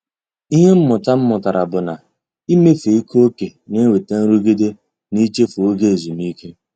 Ịhe mmụta m mụtara bụ na- ịmefe ike ókè na-enweta nrụgide na-ichefu oge ezumike.